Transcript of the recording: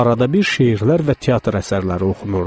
Arada bir şeirlər və teatr əsərləri oxunurdu.